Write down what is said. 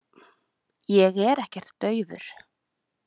Ég er ekkert daufur.